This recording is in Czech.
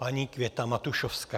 Paní Květa Matušovská.